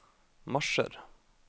marsjer